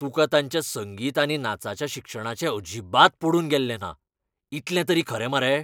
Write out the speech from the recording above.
तुका तांच्या संगीत आनी नाचाच्या शिक्षणाचें अजिबात पडून गेल्लें ना, इतलें तरी खरें मरे?